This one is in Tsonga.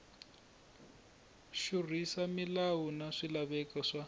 xurhisa milawu na swilaveko swa